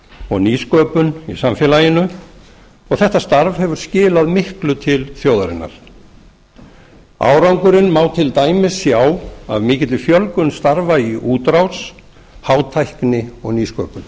og nýsköpun í samfélaginu og þetta starf hefur skilað miklu til þjóðarinnar árangurinn má til dæmis sjá af mikilli fjölgun starfa í útrás hátækni og nýsköpun